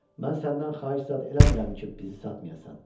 Mən səndən xahiş zad eləmirəm ki, bizi satmayasan.